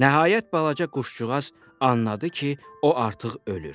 Nəhayət balaca quş-sığırçın anladı ki, o artıq ölür.